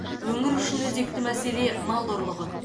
өңір үшін өзекті мәселе мал ұрлығы